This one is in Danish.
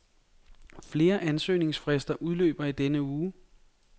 Flere ansøgningsfrister udløber i denne uge.